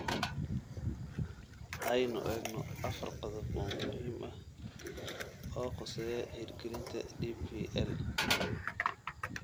Aynu eegno afar qodob oo muhiim ah oo khuseeya hirgelinta DPL: